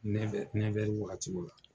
wakatiw la.